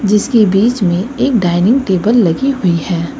जिसकी बीच में एक डाइनिंग टेबल लगी हुई है।